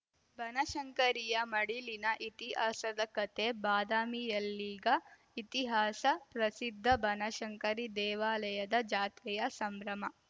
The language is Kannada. ಬನಶಂಕರಿಯ ಮಡಿಲಿನ ಇತಿಹಾಸದ ಕಥೆ ಬಾದಾಮಿಯಲ್ಲೀಗ ಇತಿಹಾಸ ಪ್ರಸಿದ್ಧ ಬನಶಂಕರಿ ದೇವಾಲಯದ ಜಾತ್ರೆಯ ಸಂಭ್ರಮ